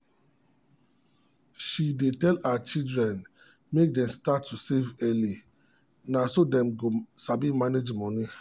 she dey tell her children make dem start to save early na so dem go sabi manage money.